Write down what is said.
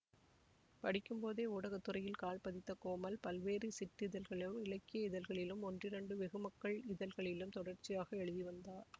படிக்கும்போதே ஊடகத்துறையில் கால்பதித்த கோமல் பல்வேறு சிற்றிதழ்களிலும் இலக்கிய இதழ்களிலும் ஒன்றிரண்டு வெகுமக்கள் இதழ்களிலும் தொடர்ச்சியாக எழுதி வந்தார்